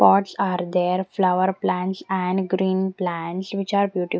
pots are there flower plants and green plants which are beautif --